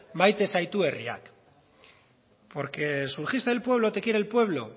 maite zaitu herriak porque surgiste del pueblo te quiere el pueblo